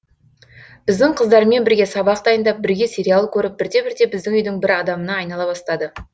біздің қыздармен бірге сабақ дайындап бірге сериал көріп бірте бірте біздің үйдің бір адамына айнала бастады